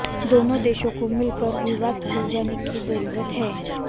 दोनों देशों को मिलकर विवाद सुलझाने की जरुरत है